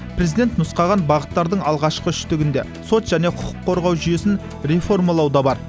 президент нұсқаған бағыттардың алғашқы үштігінде сот және құқық қорғау жүйесін реформалау да бар